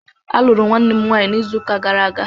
A lụrụ Nwanne m nwanyi n'ịzu ụka gara aga